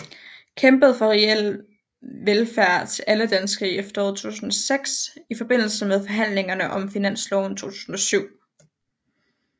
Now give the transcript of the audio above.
Kæmpede for reel velfærd til alle danskere i efteråret 2006 i forbindelse med forhandlingerne om finansloven 2007